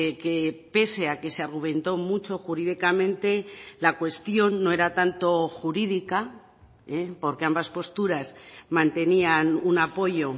que pese a que se argumentó mucho jurídicamente la cuestión no era tanto jurídica porque ambas posturas mantenían un apoyo